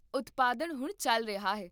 ਉਤਪਾਦਨ ਹੁਣ ਚੱਲ ਰਿਹਾ ਹੈ